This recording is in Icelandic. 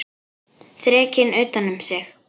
Þrekinn utan um sig.